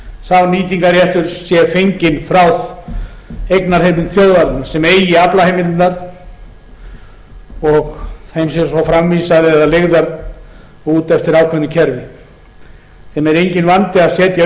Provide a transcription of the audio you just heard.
sá nýtingarréttur sé fenginn frá eignarheimild þjóðarinnar sem eigi aflaheimildirnar og þeim sé svo framvísað eða leigðar út eftir ákveðnu kerfi sem er enginn vandi að setja upp í